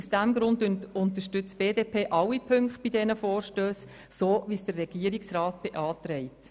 Aus diesem Grund unterstützt die BDP-Fraktion alle Punkte der Vorstösse so, wie es der Regierungsrat beantragt.